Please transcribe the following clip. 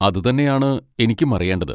അതുതന്നെയാണ് എനിക്കും അറിയേണ്ടത്.